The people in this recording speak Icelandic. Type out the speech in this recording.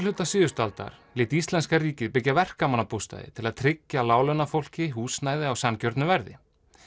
síðustu öld lét íslenska ríkið byggja verkamannabústaði til að tryggja láglaunafólki húsnæði á sanngjörnu verði